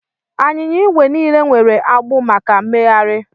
Anyịnya igwe niile nwere agbụ maka mmegharị